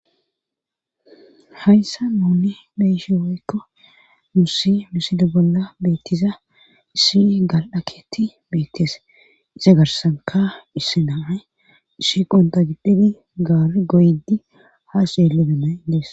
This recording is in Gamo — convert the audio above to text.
Hayssa nuuni beyishi woykko nussi misilo bolla beettiza issi gal7aketi beettees isa garsanka isse nay issiqonta giddhidi gaar goydi haa syeelebena idees.